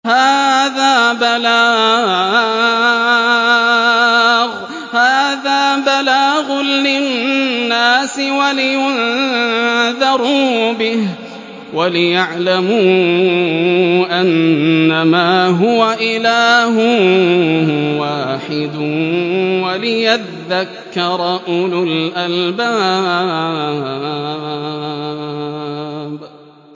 هَٰذَا بَلَاغٌ لِّلنَّاسِ وَلِيُنذَرُوا بِهِ وَلِيَعْلَمُوا أَنَّمَا هُوَ إِلَٰهٌ وَاحِدٌ وَلِيَذَّكَّرَ أُولُو الْأَلْبَابِ